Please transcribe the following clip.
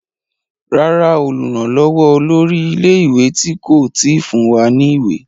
Ràrá olùrànlówó olórí ilé ìwé tí kò tí fún wá ní ìwé.